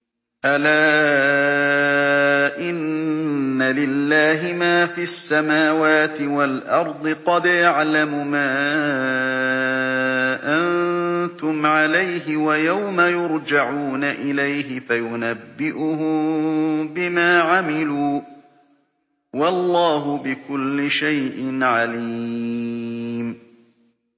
أَلَا إِنَّ لِلَّهِ مَا فِي السَّمَاوَاتِ وَالْأَرْضِ ۖ قَدْ يَعْلَمُ مَا أَنتُمْ عَلَيْهِ وَيَوْمَ يُرْجَعُونَ إِلَيْهِ فَيُنَبِّئُهُم بِمَا عَمِلُوا ۗ وَاللَّهُ بِكُلِّ شَيْءٍ عَلِيمٌ